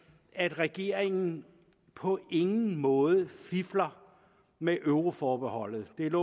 at regeringen på ingen måde fifler med euroforbeholdet det